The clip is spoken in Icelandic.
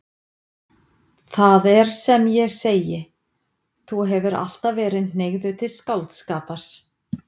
Það er sem ég segi: Þú hefur alltaf verið hneigður til skáldskapar.